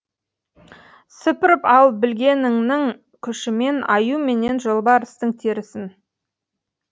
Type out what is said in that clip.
сыпырып ал білегіңнің күшімен аю менен жолбарыстың терісін